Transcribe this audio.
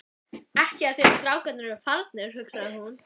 Ekki af því að strákarnir eru farnir, hugsaði hún.